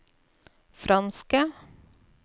franske